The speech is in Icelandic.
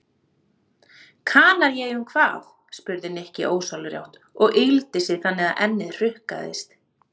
Kanaríeyjum hvað? spurði Nikki ósjálfrátt og yggldi sig þannig að ennið hrukkaðist.